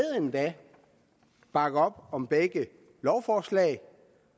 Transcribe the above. bakke op om begge lovforslag